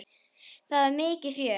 Það var mikið fjör.